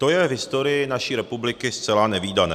To je v historii naší republiky zcela nevídané.